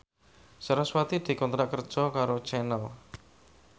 sarasvati dikontrak kerja karo Channel